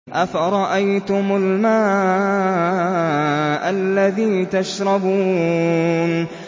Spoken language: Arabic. أَفَرَأَيْتُمُ الْمَاءَ الَّذِي تَشْرَبُونَ